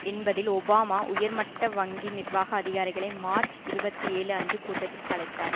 என்பதில் ஒபாமா உயர்மட்ட வங்கி நிர்வாக அதிகாரிகளை மார்ச் இருபத்தி ஏழு அன்று கூட்டத்திற்கு அழைத்தார்